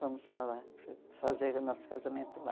Vamos lá, fazer o nosso casamento lá.